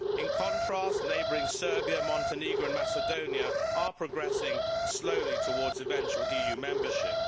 In contrast, neighbouring Serbia, Montenegro and Macedonia are progressing slowly towards eventual EU membership.